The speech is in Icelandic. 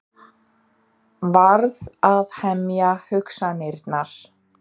Verð að hemja hugsanirnar.